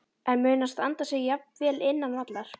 En mun hann standa sig jafn vel innan vallar?